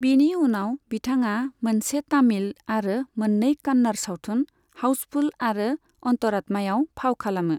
बिनि उनाव, बिथाङा मोनसे तामिल आरो मोननै कन्नड़ सावथुन, हाउसफुल आरो अन्तरात्मायाव फाव खालामो।